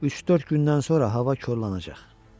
Üç-dörd gündən sonra hava korlanacaq.